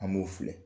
An b'u filɛ